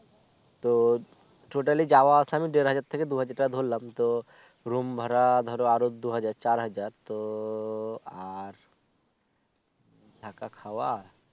তো Total ই যাওয়া আসা দের হাজার থেকে দু হাজার ধরলাম তো room ভাড়া ধরো আরো দু হাজার চার হাজার তো আর থাকা খাওয়া